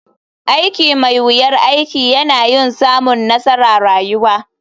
Aiki mai wuyar aiki yana yin samun nassara rayuwa.